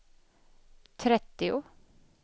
trettio